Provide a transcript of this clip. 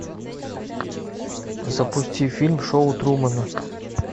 запусти фильм шоу трумана